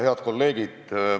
Head kolleegid!